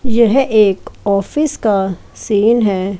यह एक ऑफिस का सीन है।